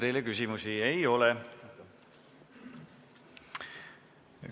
Teile küsimusi ei ole.